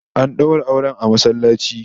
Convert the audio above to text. An daura auren masallaci